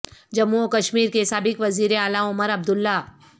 جموں و کشمیر کے سابق وزیر اعلی عمر عبداللہ